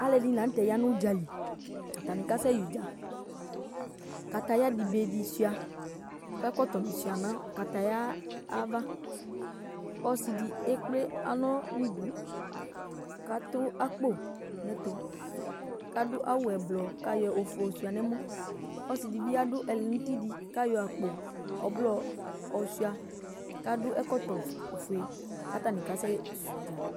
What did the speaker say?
Alʋɛdɩnɩ la nʋ tɛ ya nʋ ʋdza li Atanɩ kasɛyɛ ʋdza Kataya dɩ be dɩ sʋɩa kʋ ɛkɔtɔnɩ sʋɩa nʋ kataya yɛ ava Ɔsɩ dɩ ekple alɔ nʋ idu kʋ atʋ akpo nʋ ɛtʋ kʋ adʋ awʋ ɛblɔ kʋ ayɔ ofue yɔsʋɩa nʋ ɛmɔ Ɔsɩ dɩ bɩ adʋ ɛlɛnʋti dɩ kʋ ayɔ akpo ɔblɔ yɔsʋɩa kʋ adʋ ɛkɔtɔfue kʋ atanɩ kasɛsɛ ʋdza